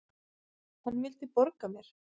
Hann vildi borga mér!